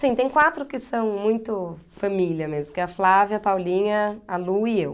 Sim, tem quatro que são muito família mesmo, que é a Flávia, a Paulinha, a Lu e eu.